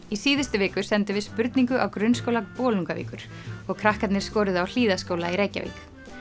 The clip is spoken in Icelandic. í síðustu viku sendum við spurningu á Grunnskóla Bolungarvíkur og krakkarnir skoruðu á Hlíðaskóla í Reykjavík